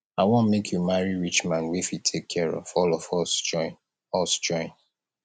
i wan make you marry rich man wey fit take care of all of us join us join